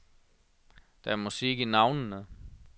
Der er musik i navnene.